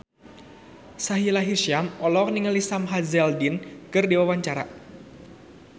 Sahila Hisyam olohok ningali Sam Hazeldine keur diwawancara